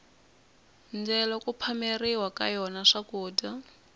ndyelo ku phameriwa ka yona swakudya